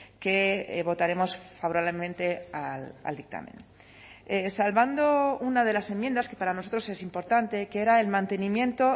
que votaremos favorablemente al dictamen salvando una de las enmiendas que para nosotros es importante que era el mantenimiento